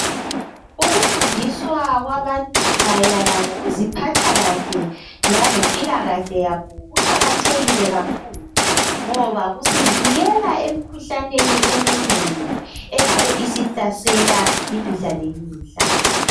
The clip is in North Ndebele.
Ukufundiswa kwabantu mayelana kokuziphatha kahle langempilakahle yabo kuqakathekile kakhulu ngoba kusivikela emkhuhlaneni eminengi engabe isihlasela imihla ngemihla